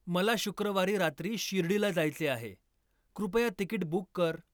मला शुक्रवारी रात्री शिर्डीला जायचे आहे, कृपया तिकीट बुक कर